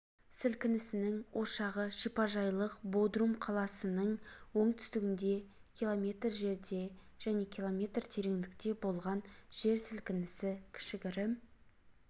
сілкінісінің ошағы шипажайлық бодрум қаласының оңтүстігінде км жерде және км тереңдікте болған жер сілкінісі кішігірім